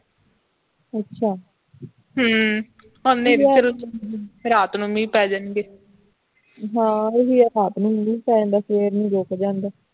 ਅੱਛਾ